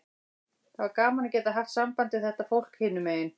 Það var gaman að geta haft samband við þetta fólk hinum megin.